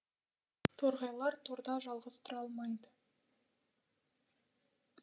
торғайлар торда жалғыз тұра алмайды